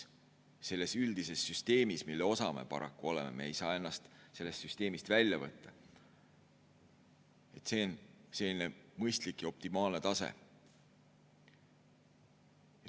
Selles üldises süsteemis, mille osa me paraku oleme – me ei saa ennast sellest süsteemist välja võtta –, on see selline mõistlik ja optimaalne tase.